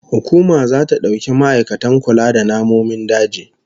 Hukuma zata dauki ma'aikatan kula da namomin daji